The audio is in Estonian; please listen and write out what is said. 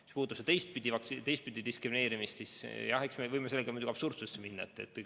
Mis puudutab seda teistpidi diskrimineerimist, siis jah, eks me võime sellega muidugi absurdsusesse minna.